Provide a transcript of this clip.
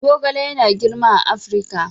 Zogale yana girma a Afirka.